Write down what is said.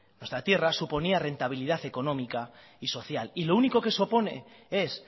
nuestra tierra suponía rentabilidad económica y social y lo único que eso pone es